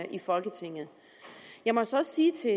i folketinget jeg må så også sige til